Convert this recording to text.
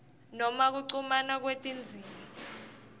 noma kuchumana kwetindzima